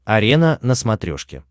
арена на смотрешке